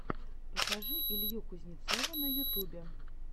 покажи илью кузнецова на ютюбе